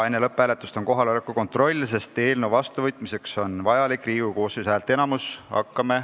Enne lõpphääletust on kohaloleku kontroll, sest eelnõu vastuvõtmiseks on vajalik Riigikogu koosseisu häälteenamus.